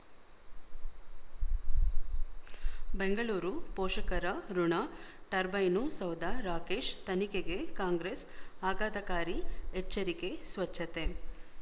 ಬೆಂಗಳೂರು ಪೋಷಕರ ಋಣ ಟರ್ಬೈನು ಸೌಧ ರಾಕೇಶ್ ತನಿಖೆಗೆ ಕಾಂಗ್ರೆಸ್ ಆಘಾತಕಾರಿ ಎಚ್ಚರಿಕೆ ಸ್ವಚ್ಛತೆ